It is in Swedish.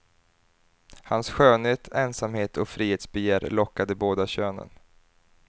Hans skönhet, ensamhet och frihetsbegär lockade båda könen.